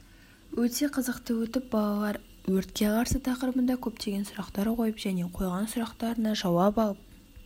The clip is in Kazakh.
өте қызықты өтіп балалар өртке қарсы тақырыбында көптеген сұрақтар қойып және қойған сұрақтарына жауап алып